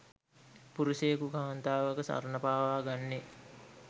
පුරුෂයෙකු කාන්තාවක සරණපාවා ගන්නේ